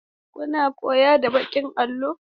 Kuna koyo da baƙin allo?